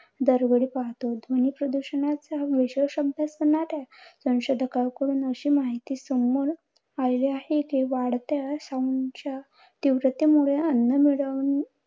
दरवेळी पाहतो. ध्वनी प्रदूषणाच्या विशेष अभ्यास करणाऱ्या संशोधकांकडून अशी माहिती समोर आली आहे कि, वाढत्या sound च्या तीव्रते मुळे अन्न मिळवणे.